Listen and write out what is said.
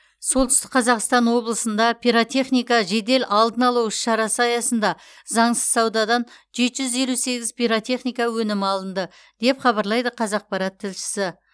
солтүстік қазақстан облысында пиротехника жедел алдын алу іс шарасы аясында заңсыз саудадан жеті жүз елу сегіз пиротехника өнімі алынды деп хабарлайды қазақпарат тілшісі